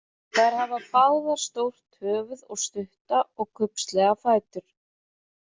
Þær hafa báðar stórt höfðuð og stutta og kubbslega fætur.